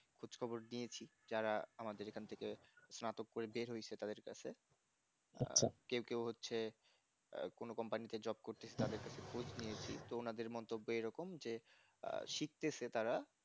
খোঁজখবর দিয়েছি যারা আমাদের এখান থেকে স্নাতক করে বের হয়েছে তাদের কাছে কেউ কেউ হচ্ছে আহ কোন company তে jobe করতেছি তাদের কাছে খোঁজ নিয়েছি তো ওনাদের মন্তব্য এরকম যে আহ শিখতেছে তারা